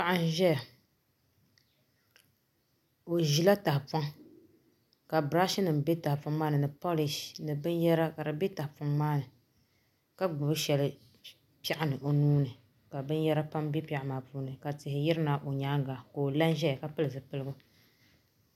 Paɣa n ʒɛya o ʒila tahapoŋ ka birash nim bɛ tahapoŋ maa ni ni polish ni binyɛra ka di bɛ tahapoŋ maa ni ka gbubi shɛli piɛɣu ni o nuuni ka binyɛra pam bɛ piɛɣu maa puuni ka tihi yirina o nyaanga ka o la n ʒɛya ka pili zipiligu